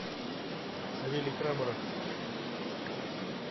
савелий крамаров